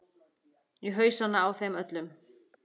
Í hausana á þeim öllum.